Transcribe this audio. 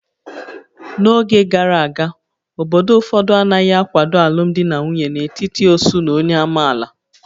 N'oge gara aga, obodo ụfọdụ anaghị akwado alụmdi na nwunye n'etiti ósú na onye amaala